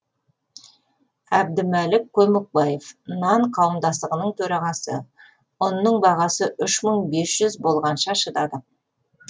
әбдімәлік көмекбаев нан қауымдастығының төрағасы ұнның бағасы үш мың бес жүз болғанша шыдадық